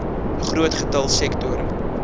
groot getal sektore